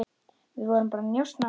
Við vorum bara að njósna